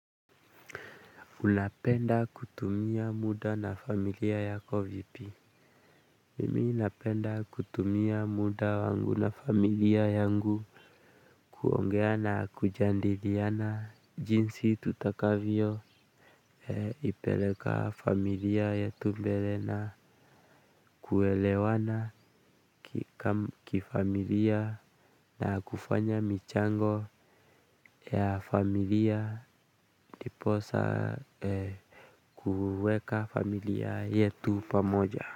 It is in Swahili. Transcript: Unapenda kutumia muda na familia yako vipi? Mimi ninapenda kutumia muda wangu na familia yangu. Kuongea na kujadiliana jinsi tutakavyo ipeleka familia yetu mbele na kuelewana kifamilia na kufanya michango ya familia ndiposa kuweka familia yetu pamoja.